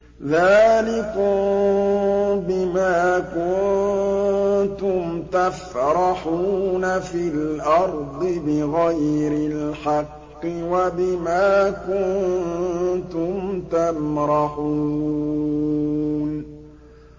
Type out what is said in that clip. ذَٰلِكُم بِمَا كُنتُمْ تَفْرَحُونَ فِي الْأَرْضِ بِغَيْرِ الْحَقِّ وَبِمَا كُنتُمْ تَمْرَحُونَ